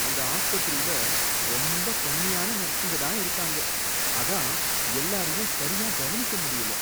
அந்த ஆஸ்பத்திரில ரொம்ப கம்மியான நர்ஸுங்க தான் இருக்காங்க, அதான் எல்லாரையும் சரியா கவனிக்க முடியல.